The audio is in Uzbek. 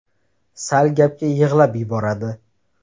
Sal gapga yig‘lab yuboradi.